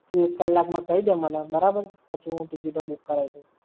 એક કલાક માં કઈ દે મને. બરાબર? પછી હું ticket ઓ book કરાઈ દઉં.